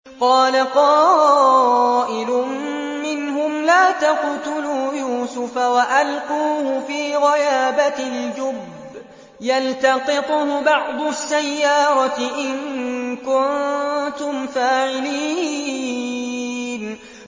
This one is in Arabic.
قَالَ قَائِلٌ مِّنْهُمْ لَا تَقْتُلُوا يُوسُفَ وَأَلْقُوهُ فِي غَيَابَتِ الْجُبِّ يَلْتَقِطْهُ بَعْضُ السَّيَّارَةِ إِن كُنتُمْ فَاعِلِينَ